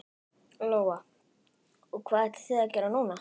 Lóa: Og hvað ætlið þið að gera núna?